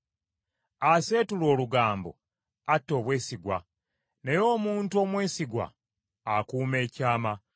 Aseetula olugambo atta obwesigwa, naye omuntu omwesigwa akuuma ekyama.